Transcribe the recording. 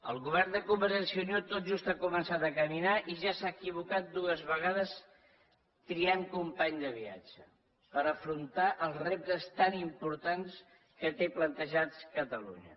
el govern de convergència i unió tot just ha començat a caminar i ja s’ha equivocat dues vegades triant company de viatge per afrontar els reptes tan importants que té plantejats catalunya